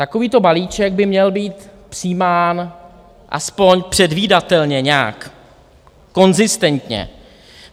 Takovýto balíček by měl být přijímán aspoň předvídatelně, nějak konzistentně.